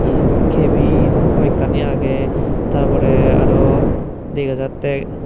yen kebin hoyekkani agey tar pore araw dega jatte.